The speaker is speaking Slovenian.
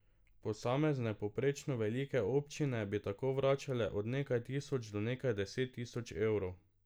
Posamezne povprečno velike občine bi tako vračale od nekaj tisoč do nekaj deset tisoč evrov.